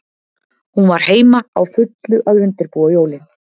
Hún var heima, á fullu að undirbúa jólin.